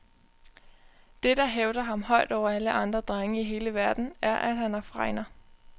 Det, der hævder ham højt over alle andre drenge i hele verden, er at han har fregner.